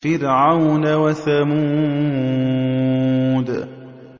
فِرْعَوْنَ وَثَمُودَ